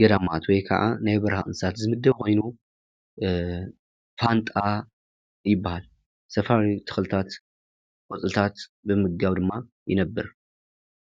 ገዳማት ወይ ከኣ ናይ በረካ እንስሳ ዝምደብ ኮይኑ ፋንጣ ይባሃል:: ሰፈር ተክልታት ቆፅልታት ብምምጋብ ድማ ይነብር::